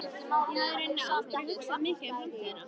Ég hafði í rauninni aldrei hugsað mikið um framtíðina.